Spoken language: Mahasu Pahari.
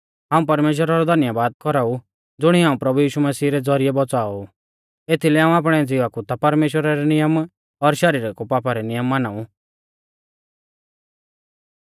हाऊं परमेश्‍वरा रौ धन्यबाद कौराऊ ज़ुणीऐ हाऊं प्रभु यीशु मसीह रै ज़ौरिऐ बौच़ाओ ऊ एथीलै हाऊं आपणै ज़िवा कु ता परमेश्‍वरा रै नियम पर शरीरा कु पापा रै नियम माना ऊ